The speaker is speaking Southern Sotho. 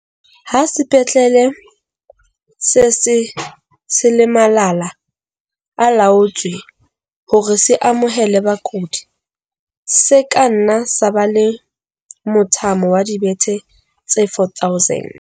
Ha sepetlele se se se le malala-a-laotswe hore se amohele bakudi, se ka nna sa ba le mothamo wa dibethe tse 4 000.